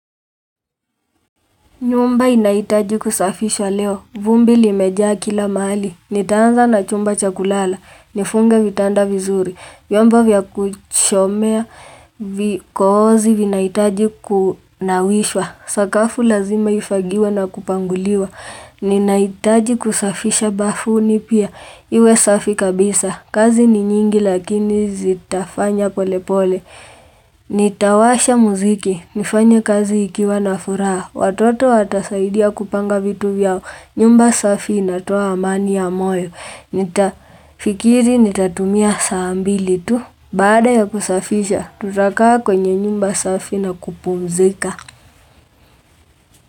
Nyumba inahitaji kusafishwa leo. Vumbi limejaa kila mali. Nitaanza na chumba cha kulala. Nifunge vitanda vizuri. Vyombo vya kuchomea. Vikoozi vinahitaji kunawishwa. Sakafu lazima ifagiwe na kupanguliwa. Ninahitaji kusafisha bafuni pia. Iwe safi kabisa. Kazi ni nyingi lakini zitafanya pole pole. Nitawasha muziki, nifanye kazi ikiwa na furaha Watoto watasaidia kupanga vitu vyao nyumba safi inatoa amani ya moyo Nitafikiri nitatumia saambili tu Bada ya kusafisha, tutakaa kwenye nyumba safi na kupumzika.